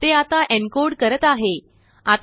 ते आता एनकोड करत आहे